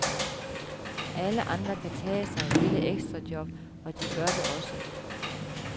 Alle andre kan tage sig et lille ekstrajob, og de gør det også.